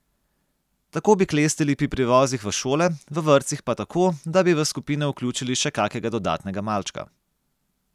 Tako bi klestili pri prevozih v šole, v vrtcih pa tako, da bi v skupine vključili še kakega dodatnega malčka.